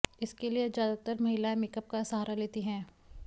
इसके लिए ज्यादातर महिलाएं मेकअप का सहारा लेती हैं